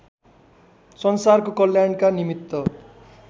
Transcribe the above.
संसारको कल्याणका निमित्त